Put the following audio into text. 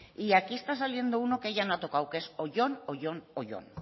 y aquí está saliendo uno que ella no ha tocado que es oyón oyón oyón